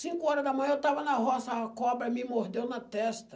Cinco horas da manhã eu estava na roça, a cobra me mordeu na testa.